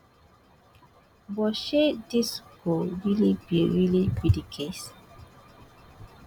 but shey dis go really be really be di case